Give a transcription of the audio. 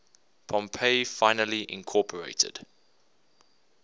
pompey finally incorporated